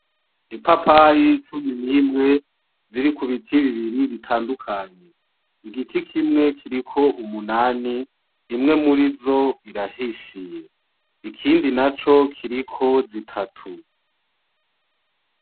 Ipapayi cumi n’imwe ziri ku biti bibiri bitandukanye. Igiti kimwe kiriko umunani, imwe murizo irahishiye. Ikindi naco kiriko zitatu .